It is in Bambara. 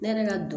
Ne yɛrɛ ka don